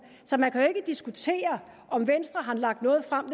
så man kan jo ikke diskutere om venstre har lagt noget frem